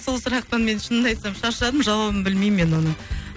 сол сұрақтан мен шынымда айтсам шаршадым жауабын білмеймін мен оның